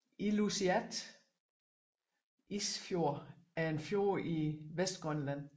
Ilulissat Isfjord er en fjord i Vestgrønland